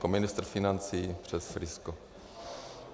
Jako ministr financí přes Prisco.